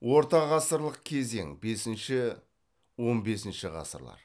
орта ғасырлық кезең бесінші он бесінші ғасырлар